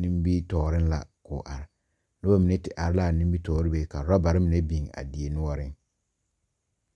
nimitɔɔreŋ la k’o are. Noba mine te are a nimitɔɔre be ka orɔbare mine meŋ